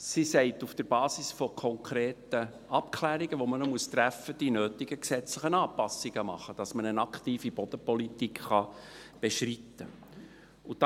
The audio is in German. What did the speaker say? Sie sagt, auf der Basis von konkreten Abklärungen, die man noch treffen muss, sind die nötigen gesetzlichen Anpassungen vorzunehmen, damit man eine aktive Bodenpolitik beschreiten kann.